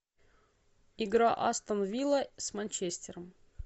игра астон вилла с манчестером